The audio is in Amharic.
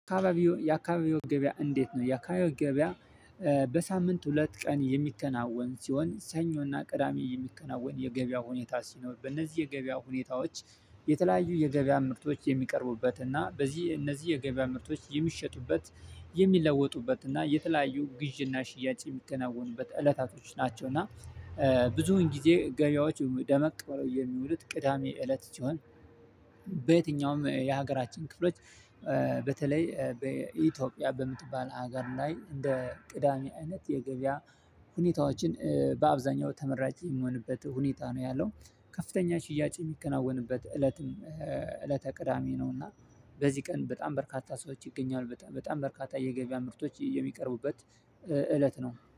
አካባቢው የአካባቢው ገበያ እንዴት ነው የአካባቢው ገበያ? በሳምንት ሁለት ቀን የሚከናወን ሲሆን ሰኞና ቅዳሚ የሚከናወን የገበያ ሁኔታ ሲኖር በእነዚህ የገበያ ሁኔታዎች የተለያዩ የገበያ ምርቶች የሚቀርቡበት እና በዚህ እነዚህ የገበያ ምርቶች የሚሸጡበት የሚለወጡበት እና የተለያዩ ግዢና ሽያጭ የሚከናወኑበት እለታቶች ናቸው። እና ብዙን ጊዜ ገበያዎች ደመቅ ብለው የሚሉት ቅዳሜ እለት ቢሆን። በየትኛውም የሀገራችን ክፍሎች። በተለይ በኢትዮጵያ በምትባል ሀገር ላይ እንደ ቅዳሜ አይነት የገበያ ሁኔታዎችን በአብዛኛው ተመራጭ የሚሆንበት ሁኔታ ነው። ያለው ከፍተኛ ሽያጭ የሚከናወንበት እለትም እለተ ቅዳሜ ነው። እና በዚህ ቀን በጣም በርካታ ሰዎች ይገኛሉ በጣም በርካታ የገበያ ምርቶች የሚቀርቡበት እለት ነው